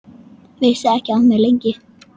Vissi ekki af mér, lengi.